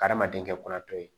Adamaden kɛ kɔnɔ to ye